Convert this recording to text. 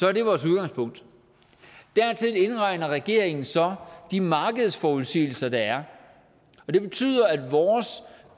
er det vores udgangspunkt dertil indregner regeringen så de markedsforudsigelser der er og det betyder at vores